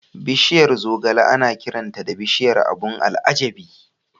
Bishiyar zogale ana kiranta da "Bishiyar abun al'ajabi".